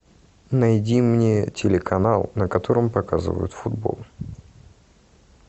найди мне телеканал на котором показывают футбол